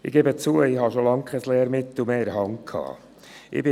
Ich gebe zu, dass ich schon lange kein Lehrmittel mehr in der Hand hatte.